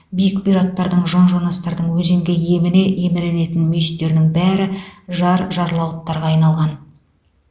биік бұйраттардың жон жонастардың өзенге еміне еміренетін мүйістерінің бәрі жар жарлауыттарға айналған